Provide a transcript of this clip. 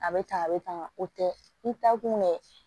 A bɛ tan a bɛ tan o tɛ i taakun ye